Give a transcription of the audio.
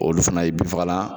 Olu fana ye bin fagala